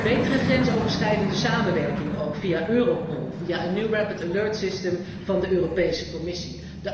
Betere grensoverschrijdende samenwerking ook via Europol, via een rapid alert system van de Europese Commissie.